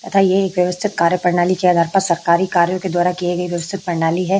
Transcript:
तथा ये व्यवस्थित कार्य प्रणाली के द्वारा सरकार के द्वारा किये गए व्यवस्थित प्रणाली हैं।